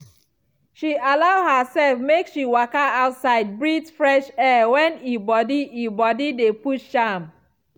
she allow herself make she waka outside breathe fresh air when e body e body dey push am